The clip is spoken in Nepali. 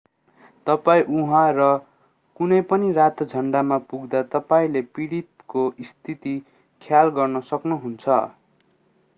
तपाईं उहाँ र कुनै पनि रातो झन्डामा पुग्दा तपाईंले पीडितको स्थिति ख्याल गर्न सक्नुहुन्छ